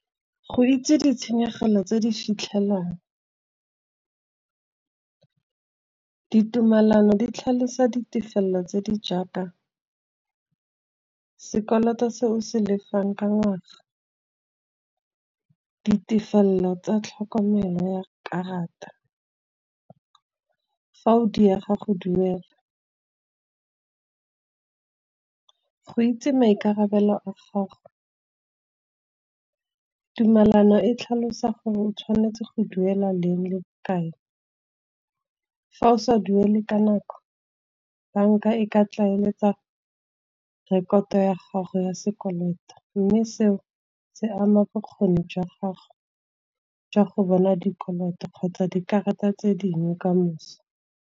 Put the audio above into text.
Go itse ditshenyegelo tse di fitlhelelang, ditumelano di tlhalosa ditefelelo tse di jaaka sekoloto se o se lefang ka ngwaga. Ditefelelo tsa tlhokomelo ya karata, fa o diega go duela, go itse maikarabelo a gago. Tumalano e tlhalosa gore o tshwanetse go duela leng le bokae, fa o sa duele ka nako bank-a e ka tlaeletsa rekoto ya gago ya sekoloto. Mme seo se ama bokgoni jwa gago jwa go bona dikoloto, kgotsa dikarata tse dingwe ka moso.